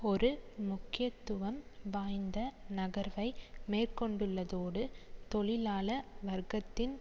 ஒரு முக்கியத்துவம் வாய்ந்த நகர்வை மேற்கொண்டுள்ளதோடு தொழிலாள வர்க்கத்தின்